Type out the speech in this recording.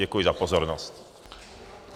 Děkuji za pozornost.